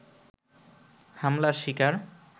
হামলার শিকার